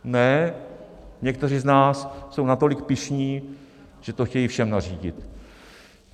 Ne, někteří z nás jsou natolik pyšní, že to chtějí všem nařídit.